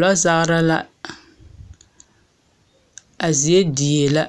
Lɔzaara la. A zie diee la,